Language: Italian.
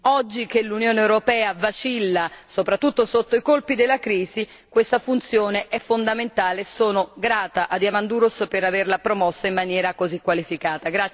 Oggi che l'Unione europea vacilla soprattutto sotto i colpi della crisi, questa funzione è fondamentale e sono grata a Diamandouros per averla promossa in maniera così qualificata.